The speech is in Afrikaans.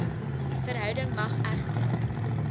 verhouding mag egter